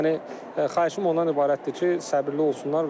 Yəni xahişim ondan ibarətdir ki, səbirli olsunlar.